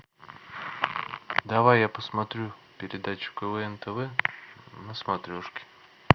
давай я посмотрю передачу квн тв на смотрешке